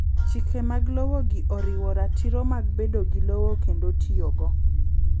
Chike mag lowo gi oriwo ratiro mag bedo gi lowo kendo tiyogo